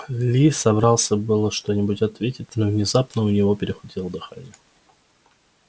ли собрался было что-нибудь ответить но внезапно у него перехватило дыхание